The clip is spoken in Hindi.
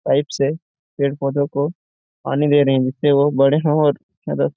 पाइप से पेड़ पौधों को पानी दे रहे है जिससे वह बड़े और --